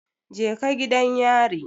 Je ka gidan yari